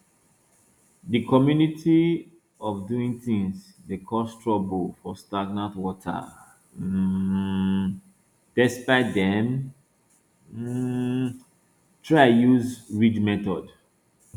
the community way of doing things dey cause trouble for stagnant water um despite dem um try use ridge method